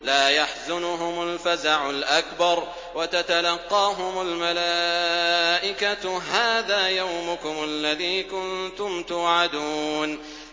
لَا يَحْزُنُهُمُ الْفَزَعُ الْأَكْبَرُ وَتَتَلَقَّاهُمُ الْمَلَائِكَةُ هَٰذَا يَوْمُكُمُ الَّذِي كُنتُمْ تُوعَدُونَ